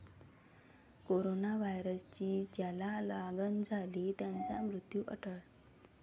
Corona व्हायरसची ज्याला लागण झाली त्याचा मृत्यू अटळ?